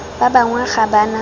ba bangwe ga ba na